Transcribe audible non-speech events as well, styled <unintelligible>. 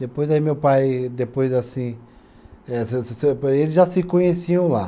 Depois, aí meu pai, depois assim. <unintelligible> Eles já se conheciam lá.